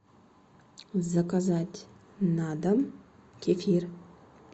заказать на дом кефир